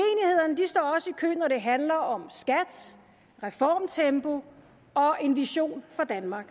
kø når det handler om skat reformtempo og en vision for danmark